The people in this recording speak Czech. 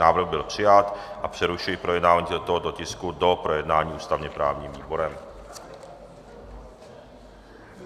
Návrh byl přijat a přerušuji projednávání tohoto tisku do projednání ústavně-právním výborem.